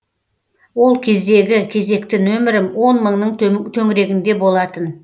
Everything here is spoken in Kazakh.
ол кездегі кезекті нөмірім он мыңның төңірегінде болатын